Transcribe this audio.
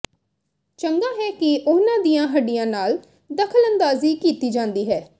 ਚੰਗਾ ਹੈ ਕਿ ਉਨ੍ਹਾਂ ਦੀਆਂ ਹੱਡੀਆਂ ਨਾਲ ਦਖ਼ਲਅੰਦਾਜ਼ੀ ਕੀਤੀ ਜਾਂਦੀ ਹੈ